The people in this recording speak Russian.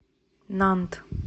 нант